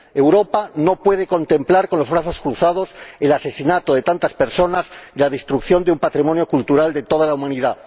Europa no puede contemplar con los brazos cruzados el asesinato de tantas personas y la destrucción de un patrimonio cultural de toda la humanidad.